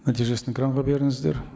нәтижесін экранға беріңіздер